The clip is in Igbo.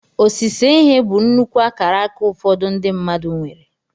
Osise ihe bụ nnukwu akaraka ụfọdụ ndị mmadụ nwere.